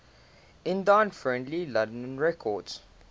indie friendly london records